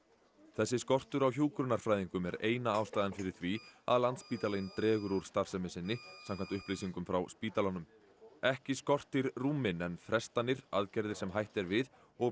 þessi skortur á hjúkrunarfræðingum er eina ástæðan fyrir því að Landspítalinn dregur úr starfsemi sinni samkvæmt upplýsingum frá spítalanum ekki skortir rúmin en frestanir aðgerðir sem hætt er við og